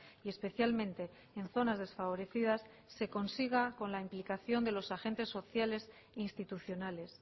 y especialmente en zonas desfavorecidas se consiga con la implicación de los agentes sociales institucionales